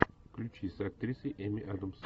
включи с актрисой эми адамс